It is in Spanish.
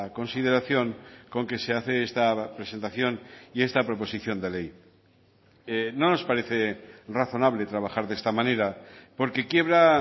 consideración con que se hace esta presentación y esta proposición de ley no nos parece razonable trabajar de esta manera porque quiebra